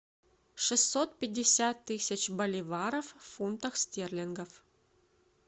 шестьсот пятьдесят тысяч боливаров в фунтах стерлингов